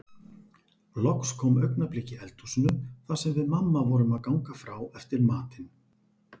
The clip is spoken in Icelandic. Loks kom augnablik í eldhúsinu þar sem við mamma vorum að ganga frá eftir matinn.